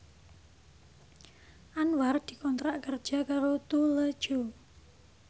Anwar dikontrak kerja karo Tous Les Jour